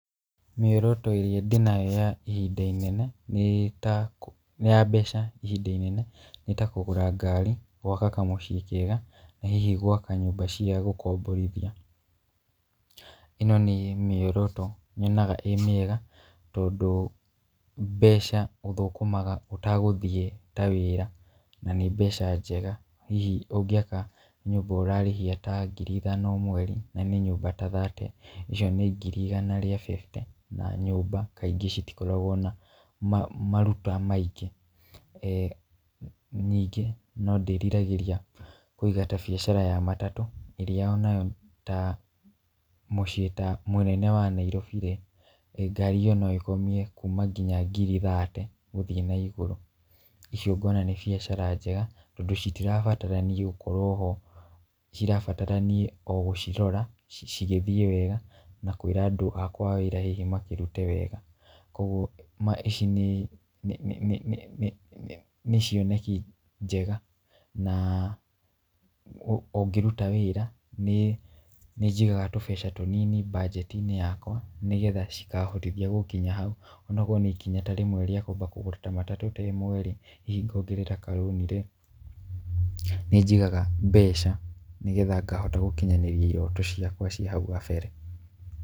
Mĩoroto ĩrĩa ndĩnayo ya ihinda-inĩ inene nĩ ta nĩ ya mbeca ihinda inene nĩ ta kũgũra ngari, gwaka kamũciĩ kega, na hihi gwaka nyũmba cia gũkomborithia. Ĩno nĩ mĩoroto nyonaga ĩ mĩega tondũ mbeca ũthũkũmaga ũtagũthiĩ ta wĩra na nĩ mbeca njega hihi ũngĩaka nyũmba ũrarĩhia ta ngiri ithano o mweri na nĩ nyũmba ta thate, icio nĩ ngiri igana rĩa bĩbute na nyũmba kaingĩ citikoragwo na maruta maingĩ. Ningĩ no ndĩriragĩria kũiga ta biacara ya matatũ ĩrĩa onayo ta mũciĩ ta mũnene wa Nairobi-rĩ, ngari ĩyo no ĩkomie kuma kinya ngiri thate gũthiĩ naigũrũ. Icio ngona nĩ biacara njega tondũ citirabatra niĩ gũkorwo ho, cirabatara niĩ o gũcirora cigĩthiĩ wega na kwĩra andũ akwa a wĩra hihi makĩrute wega. Kuoguo ici nĩ nĩ nĩ nĩ nĩ cioneki njeg,a na ũngĩruta wĩra nĩnjigaga tũbeca tũnini mbanjeti-inĩ yakwa nĩgetha cikahotithia gũkinya hau. Onakorwo nĩ ikinya ta rĩmwe rĩa kwamba kũgũra matatũ ta ĩmwe-rĩ, hihi ngongerera karũni-rĩ, nĩnjigaga mbeca nĩgetha ngahota gũkinyanĩria iroto ciakwa cia hau kabere.